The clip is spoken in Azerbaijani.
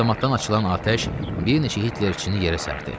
Avtomatdan açılan atəş bir neçə Hitlerçini yerə sərdi.